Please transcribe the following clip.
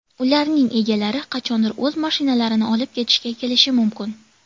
Ularning egalari qachondir o‘z mashinalarini olib ketishga kelishi mumkin.